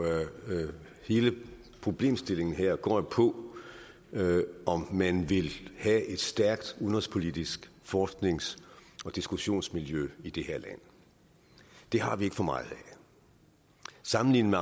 hele problemstillingen her går jo på om man vil have et stærkt udenrigspolitisk forsknings og diskussionsmiljø i det her land det har vi ikke for meget af sammenlignet